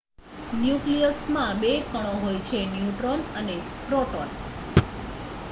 ન્યુક્લિયસમાં 2 કણો હોય છે ન્યુટ્રોન અને પ્રોટોન